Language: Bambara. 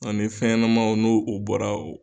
Ani fɛnɲɛnamaw n'u u bɔra